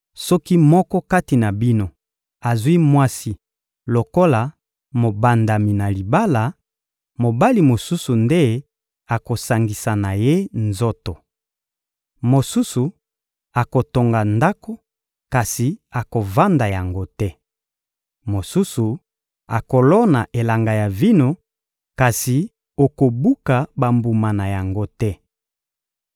Soki moko kati na bino azwi mwasi lokola mobandami na libala, mobali mosusu nde akosangisa na ye nzoto. Mosusu akotonga ndako, kasi akovanda yango te. Mosusu akolona elanga ya vino, kasi okobuka bambuma na yango te.